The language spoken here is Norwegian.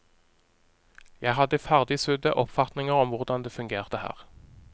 Jeg hadde ferdigsydde oppfatninger om hvordan det fungerte her.